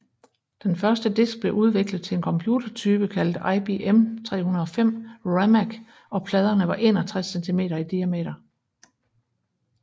Den første disk blev udviklet til en computertype kaldet IBM 305 RAMAC og pladerne var 61 cm i diameter